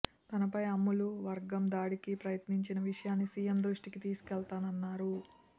తనపై అమ్ములు వర్గం దాడికి ప్రయత్నించిన విషయాన్ని సీఎం దృష్టికి తీసుకెళతానన్నారు